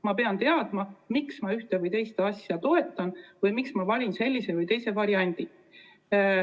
Ma pean teadma, miks ma ühte või teist asja toetan või miks ma valin selle või teise variandi.